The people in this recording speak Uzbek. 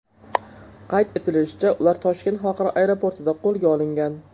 Qayd etilishicha, ular Toshkent xalqaro aeroportida qo‘lga olingan.